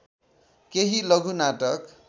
केही लघु नाटक